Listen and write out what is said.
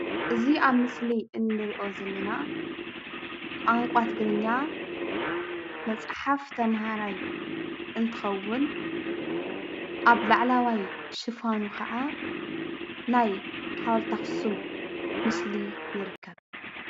እዚ ኣብ ምስሊ እንሪኦ ዘለና ቋንቋ ትግርኛ መፅሐፍ ተምሃርይ እንትክዉን ኣብ ላዕለዋይ ሽፋኑ ክዓ ናይ ሓወልቲ ኣክሱም ምስሊ ይርከብ።